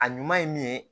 A ɲuman ye min ye